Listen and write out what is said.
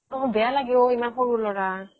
অ বেয়া লাগে ও ইমান সৰু লৰা